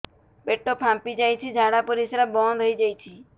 ପେଟ ଫାମ୍ପି ଯାଇଛି ଝାଡ଼ା ପରିସ୍ରା ବନ୍ଦ ହେଇଯାଇଛି